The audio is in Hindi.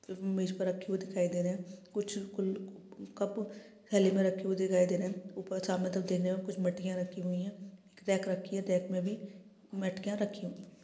म-म-मेज़ पर रखी हुए दिखाई दे रहे हैं| कुछ ल कप थैले में रखी हुए दिखाई दे रहे हैं| ऊपर सामने तरफ देखने में कुछ मटकियाँ रखी हुई है रैक रखी हुई है रैक में भी मटकियाँ रखी हुई है।